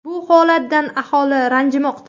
Bu holatdan aholi ranjimoqda.